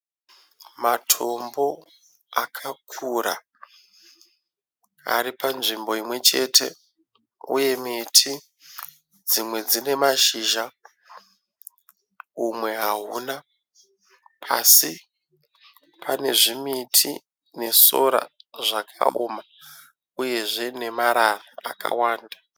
Matombo akakura aripanzvimbo imwechete, uye miti dzimwe dzine mashizha umwe hauna pasi pane zvimiti nesora zvakaoma uyezve nemarara akawanda.